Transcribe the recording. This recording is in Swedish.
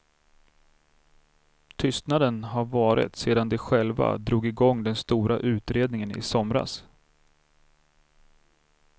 Tystnaden har varat sedan de själva drog i gång den stora utredningen i somras.